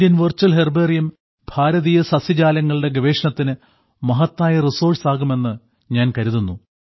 Indian virtual herbarium ഭാരതീയ സസ്യജാലങ്ങളുടെ ഗവേഷണത്തിന് മഹത്തായ റിസോഴ്സ് ആകുമെന്ന് ഞാൻ കരുതുന്നു